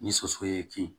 Ni soso ye kin